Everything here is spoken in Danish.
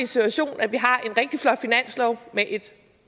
situation at vi har en rigtig flot finanslov med et